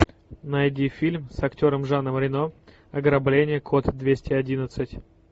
найди фильм с актером жаном рено ограбление код двести одиннадцать